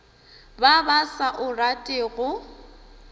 ba ba sa o ratego